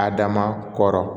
Adama kɔrɔ